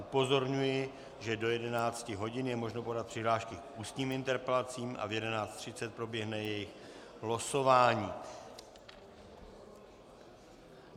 Upozorňuji, že do 11 hodin je možno podat přihlášky k ústním interpelacím a v 11.30 proběhne jejich losování.